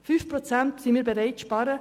Wir sind bereit, 5 Prozent zu sparen.